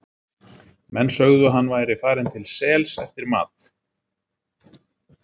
Menn sögðu að hann væri farinn til sels eftir mat.